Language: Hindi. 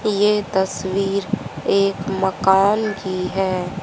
ये तस्वीर एक मकान की है।